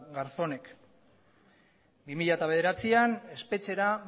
garzónek bi mila bederatzian espetxera